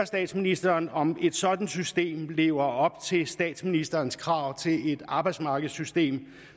statsministeren om et sådant system lever op til statsministerens krav til et arbejdsmarkedssystem